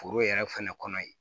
Foro yɛrɛ fɛnɛ kɔnɔ ye